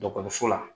la